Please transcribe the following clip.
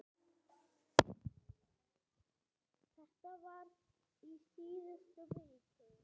Þetta var í síðustu viku.